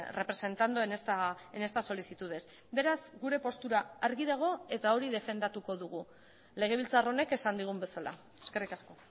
representando en estas solicitudes beraz gure postura argi dago eta hori defendatuko dugu legebiltzar honek esan digun bezala eskerrik asko